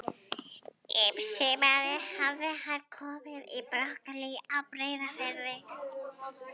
Um sumarið hafði hann komið í Brokey á Breiðafirði.